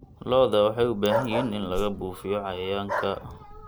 Lo'da waxay u baahan yihiin in lagu buufiyo cayayaanka.